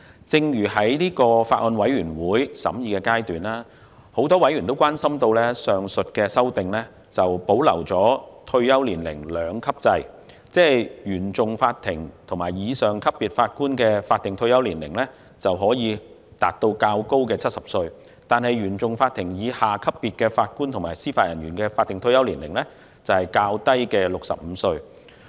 在法案委員會進行審議的時候，很多委員關心上述修訂保留退休年齡兩級制，即原訟法庭及以上級別法官的法定退休年齡可以達到70歲，而原訟法庭以下級別法官及司法人員的法定退休年齡則是65歲。